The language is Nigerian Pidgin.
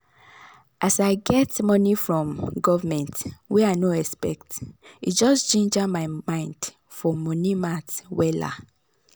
as i get money from government wey i no expect e just ginger my mind for money matt wella